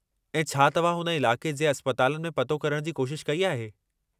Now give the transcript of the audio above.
ऐं छा तव्हां हुन इलाक़े जे अस्पतलानि में पतो करण जी कोशिश कई आहे?